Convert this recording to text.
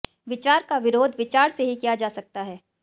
विचार का विरोध विचार से ही किया जा सकता है